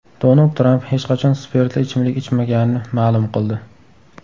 Donald Tramp hech qachon spirtli ichimlik ichmaganini ma’lum qildi.